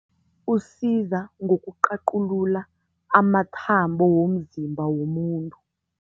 Usiza ngokuqaqulula amathambo womzimba womuntu.